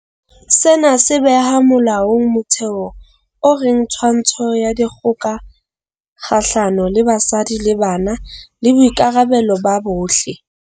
Sena se beha molaong motheo o reng twantsho ya dikgoka kgahlano le basadi le bana ke boikarabelo ba bohle.